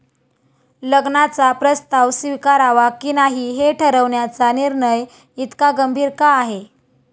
लग्नाचा प्रस्ताव स्वीकारावा की नाही हे ठरवण्याचा निर्णय इतका गंभीर का आहे?